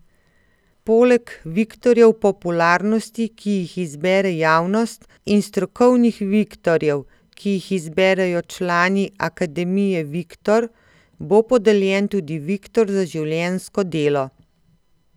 Poleg viktorjev popularnosti, ki jih izbere javnost, in strokovnih viktorjev, ki jih izberejo člani Akademije Viktor, bo podeljen tudi viktor za življenjsko delo.